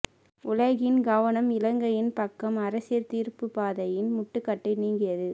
உலகின் கவனம் இலங்கையின் பக்கம் அரசியல் தீர்வுப் பாதையின் முட்டுக்கட்டை நீங்கியது